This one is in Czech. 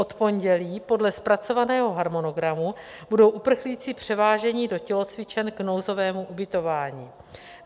Od pondělí podle zpracovaného harmonogramu budou uprchlíci převáženi do tělocvičen k nouzovému ubytování.